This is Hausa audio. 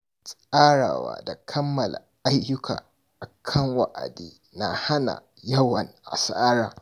Tsarawa da kammala ayyuka akan wa'adi na hana yawan asara.